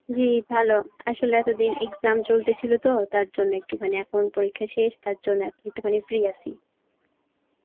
জী, ভালো আসলে এতদিন exam চলতেছিল তো তার জন্যে একটুখানি, এখন পরীক্ষা শেষ তার জন্য এখন একটুখানি free আসি.